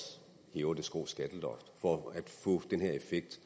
hæver det skrå skatteloft for at få den her effekt